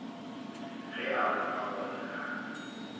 ge a bona gore ga